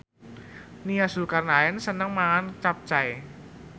Nia Zulkarnaen seneng mangan capcay